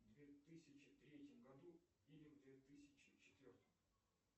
в две тысячи третьем году или в две тысячи четвертом